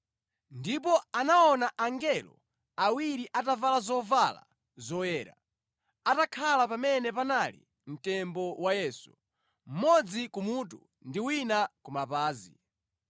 ndipo anaona angelo awiri atavala zoyera, atakhala pamene panali mtembo wa Yesu, mmodzi kumutu ndi wina kumapazi.